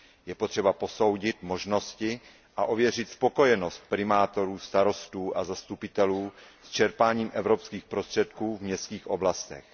Je potřeba posoudit možnosti a ověřit spokojenost primátorů, starostů a zastupitelů s čerpáním evropských prostředků v městských oblastech.